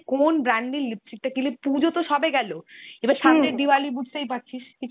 কোন brand এর lipstick টা কিনলে ,পুজো তো সবে গেল diwali বুঝতেই পারছিস।